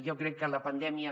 jo crec que la pandèmia